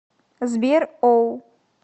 сбер оу